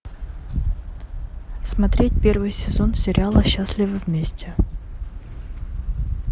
смотреть первый сезон сериала счастливы вместе